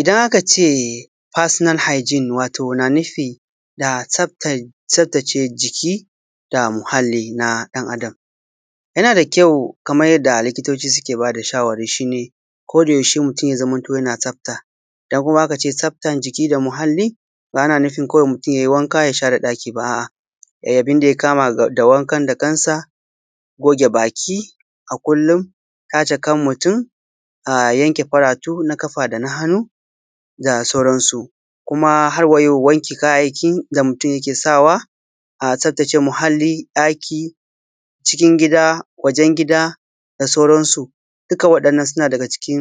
Idan akaː ceː fasiːnal haːigin, watoː naː nuːfiː da tsaftaː. Tsaftaːceː jikiː daː muhalliː naː ɗan’ adam yanaː daː kyaːu, kaːman yaddaː likiːtaːnciː keː baː daː shawaːraːriː. Shiː neː, kodaːyaːusheː muːtum yaː zaːmantoː yanaː tsaftaː. ‘Yaːn’ uwaː, idan akaː ceː tsaftan jikiː daː muhalliː, baː anaː nuːfin muːtum kaːwaːiː yaiː wankaː yaː shareː ɗakiː, baːː. A’ aː, yaiː aːbuːn daː yaː kaːmaː daː wankan daː kansaː, goːgeː bakiː aː kullum, taːceː kan muːtum, aː yankeː far’ atuː naː ƙafaː daː hanuː, daː saːuran suː. Kumaː har wayaːu, wankeː kayaːyyaːkiː gaː muːtum yaːkeː saːwaː, aː tsaftaːceː muhalliː ɗakiː, cikin gidaː, wajen gidaː, daː saːuran suː. Dukkaː waɗannan sunaː ɗaːyaː daː cikin